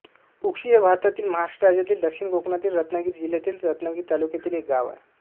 उक्षी हे भारतातील महाराष्ट्र राज्यातील दक्षिण कोकणातील रत्नागिरी जिल्ह्यातील रत्नागिरी तालुक्यातील एक गाव आहे